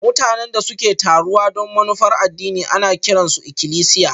Mutanen da suke taruwa don manufar addini ana kiran su ikilisiya